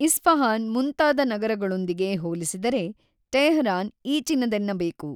Isfahan ಮುಂತಾದ ನಗರಗಳೊಂದಿಗೆ ಹೋಲಿಸಿದರೆ ಟೇಹರಾನ್ ಈಚಿನದೆನ್ನಬೇಕು.